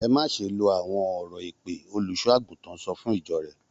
Ẹ má ṣe lo àwọn ọ̀rọ̀ èpè! Olùṣọ́-àgùntàn sọ fún ìjọ rẹ̀.